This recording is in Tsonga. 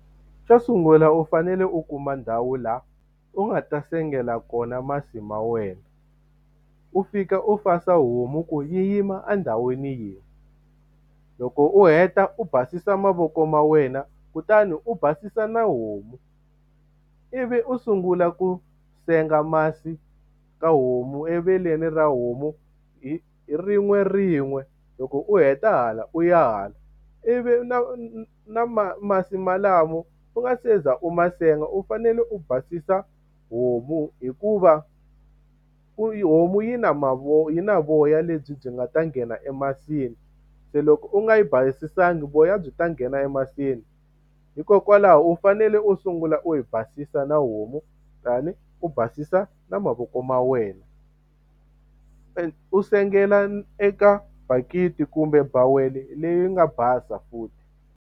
Xo sungula u fanele u kuma ndhawu laha u nga ta sengela kona masi ma wena, u fika u fasa homu ku yi yima endhawini yin'we. Loko u heta u basisa mavoko ma wena, kutani u basisa na homu. Ivi u sungula ku senga masi ka homu eveleni ra homu hi hi rin'werin'we. Loko u heta hala u ya hala, ivi na na na masi walamo u nga se za u ma senga, u fanele u basisa homu hikuva homu yi na yi na voya lebyi byi nga ta nghena emasin'wini. Se loko u nga yi basisiwangi voya byi ta nghena emasini. Hikokwalaho u fanele u sungula u yi ba basisa na homu kutani u basisa na mavoko ma wena. U sengela eka bakiti kumbe bawele leyi nga basa futhi.